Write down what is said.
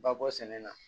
Ba bɔ sɛnɛ na